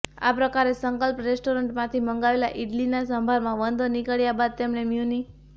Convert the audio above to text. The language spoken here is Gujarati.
આ પ્રકારે સંકલ્પ રેસ્ટોરેન્ટમાંથી મંગાવેલા ઇડલીના સંભારમાં વંદો નીકળ્યા બાદ તેમણે મ્યુનિ